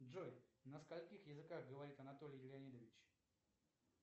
джой на скольких языках говорит анатолий леонидович